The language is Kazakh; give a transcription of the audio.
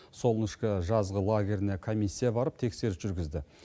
солнышка жазғы лагеріне комиссия барып тексеріс жүргізді